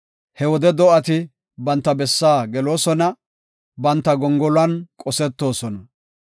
He wode do7ati banta bessaa geloosona; banta gongoluwan qosetoosona.